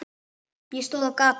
Ég stóð á gati.